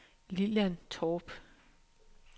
Lilian Torp